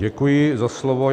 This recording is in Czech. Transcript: Děkuji za slovo.